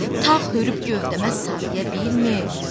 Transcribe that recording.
Tağ hörüb gövdəmə sarıya bilmir.